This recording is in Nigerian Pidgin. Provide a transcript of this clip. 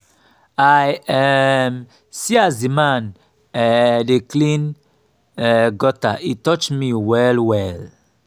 i um see as dis man um dey clean um gutter e touch me well-well.